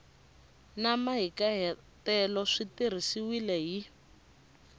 na mahikahatelo swi tirhisiwile hi